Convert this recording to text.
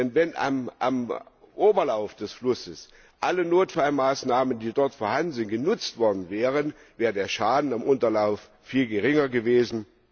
Denn wenn am Oberlauf des Flusses alle Notfallmaßnahmen, die dort vorhanden sind, genutzt worden wären, wäre der Schaden am Unterlauf viel geringer gewesen.